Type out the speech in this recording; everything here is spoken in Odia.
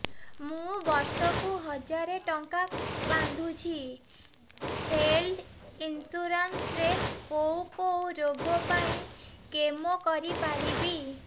ମୁଁ ବର୍ଷ କୁ ହଜାର ଟଙ୍କା ବାନ୍ଧୁଛି ହେଲ୍ଥ ଇନ୍ସୁରାନ୍ସ ରେ କୋଉ କୋଉ ରୋଗ ପାଇଁ କ୍ଳେମ କରିପାରିବି